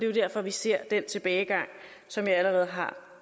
jo derfor vi ser den tilbagegang som jeg allerede har